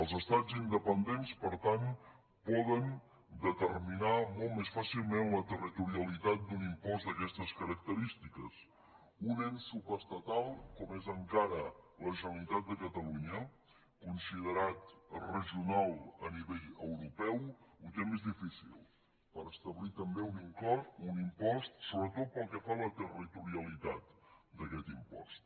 els estats independents per tant poden determinar molt més fàcilment la territorialitat d’un impost d’aquestes característiques un ens subestatal com és encara la generalitat de catalunya considerat regional a nivell europeu ho té més difícil per establir també en un impost sobretot pel que fa a la territorialitat d’aquest impost